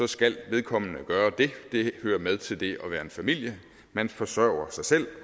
skal vedkommende gøre det det hører med til det at være en familie man forsørger sig selv